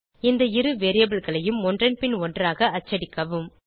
இந்த இரு variableகளையும் ஒன்றன் பின் ஒன்றாக அச்சடிக்கவும்